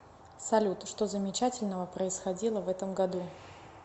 салют что замечательного происходило в этом году